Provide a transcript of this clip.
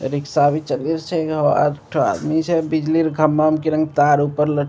ए rickshaw भी चली छै आदमी छै बिजली ले खंभा में तार ऊपर लट --